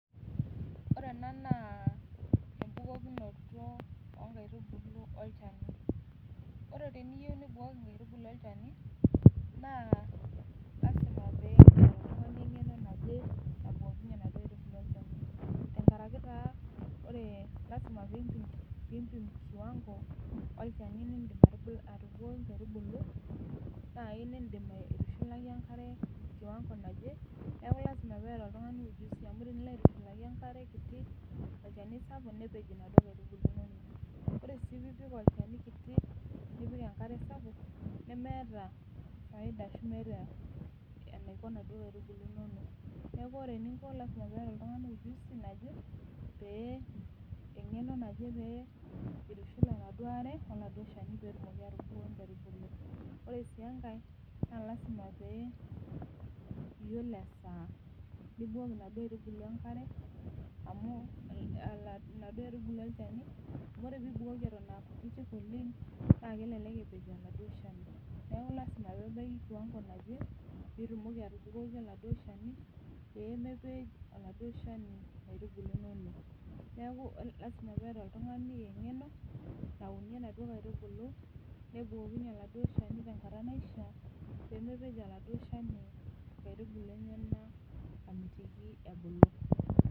oree ena naa ebukokinoto oontubulu olchani naa oree teniyou nibukoki nkaitubulu olchani oree tiniyou nibukoki nkaitubulu olchani naa lazima pee itum eng'eno najee nabukokinye naduo nkaitubulu olchani tenkare naa lazima nimpin kiwango olchani lidim atububukoki nkaitubulu nai nidim aiutushulaki enkare kiwango naje neaku lazima neeta oltung'ani ujuzi amuu tinilo aitushulaki kiti olchani sabuk nepej naduo kaitubulu inonok oree sii tinipik enkare sapuk wolchani kiti neemeta faida ashuu enaiko naduo kaitubulu inono. Neaku oree ening'o lazima neeta oltung'ani eng'eno naje peitushul naduo aare wolchani petumoki atubukoki inkaitubulu inono. Oree sii enkai naa lazima pee iyiolo esaa nibukoki naduo aitubulu olchani amuu oree tinibukoki ton aa kutiti naleng na elelek epej laduo shani neaku lazima nebaki kiwango naje pitumoki atubukoki peeme pej laduo shani inkaitubulu enyenak anaa amitiki nkaitubulu enyenak ebulu.